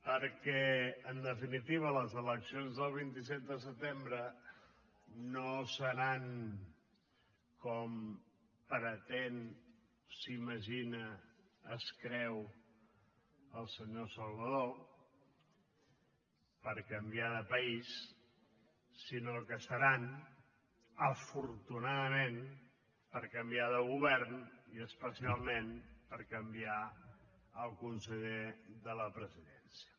perquè en definitiva les eleccions el vint set de setembre no seran com pretén s’imagina es creu el senyor salvadó per canviar de país sinó que seran afortunadament per canviar de govern i especialment per canviar el conseller de la presidència